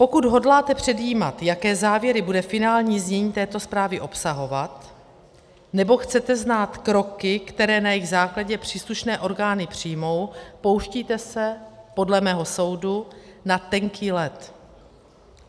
Pokud hodláte předjímat, jaké závěry bude finální znění této zprávy obsahovat, nebo chcete znát kroky, které na jejich základě příslušné orgány přijmou, pouštíte se podle mého soudu na tenký led.